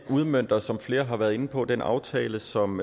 udmønter som flere har været inde på den aftale som